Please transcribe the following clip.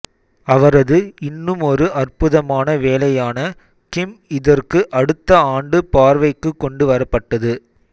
அவரது இன்னுமொரு அற்புதமான வேலையான கிம் இதற்கு அடுத்த ஆண்டு பார்வைக்கு கொண்டு வரப்பட்டது